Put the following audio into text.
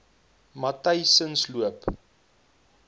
matyzensloop